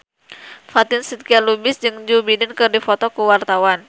Fatin Shidqia Lubis jeung Joe Biden keur dipoto ku wartawan